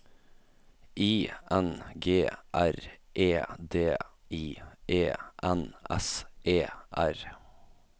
I N G R E D I E N S E R